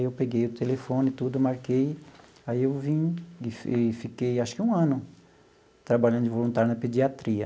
Eu peguei o telefone e tudo, marquei, aí eu vim e e fiquei acho que um ano trabalhando de voluntário na pediatria.